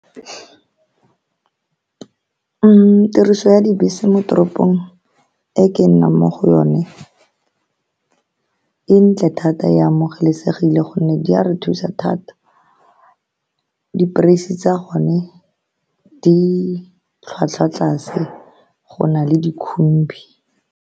Tiriso ya dibese mo toropong e ke nnang mo go yone e ntle thata, e amogelesegile ka gonne di a re thusa thata. Di-price-se tsa gone di tlhwatlhwa tlase go na le dikhumbi.